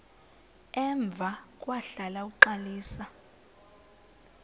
emva kwahlala uxalisa